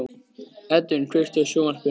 Edvin, kveiktu á sjónvarpinu.